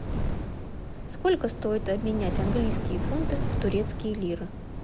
сколько стоит обменять английские фунты в турецкие лиры